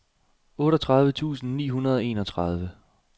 otteogtredive tusind ni hundrede og enogtredive